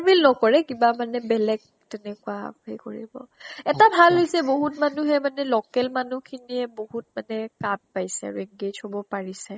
paper mill নকৰে, কিবা মানে বেলেগ তেনেকুৱা কৰিব। এটা ভাল হৈছে বহুত মানুহে মানে local মানুহ খিনিয়ে বহুত মানে কাম পাইছে আৰু। engage হব পাৰিছে।